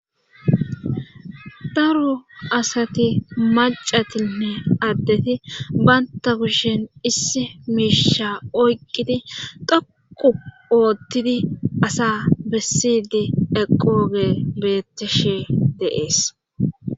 Daro asati maccatinne addeti bantta kushen issi miisha oyqqidi dhoqqu oottidi asa bessiiddi eqqoogey beettishe de7ees.